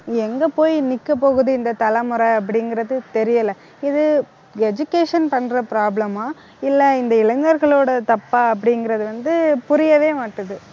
எங்க போய் நிக்க போகுது இந்த தலைமுறை அப்படிங்கிறது தெரியல இது education பண்ற problem ஆ இல்லை இந்த இளைஞர்களோட தப்பா அப்படிங்கிறது வந்து புரியவே மாட்டுது